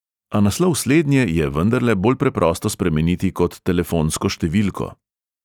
A naslov slednje je vendarle bolj preprosto spremeniti kot telefonsko številko.